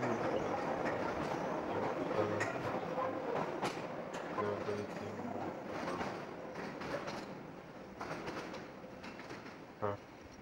Anambra um ewepụtala ọtụtụ ndị nkuzi na-adolite mmụọ ụmụakwụkwọ ha.